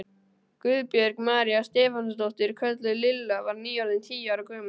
Guðbjörg María Stefánsdóttir, kölluð Lilla, var nýorðin tíu ára gömul.